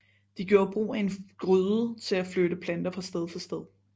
De gjorde brug af en gryde til at flytte planter fra sted til sted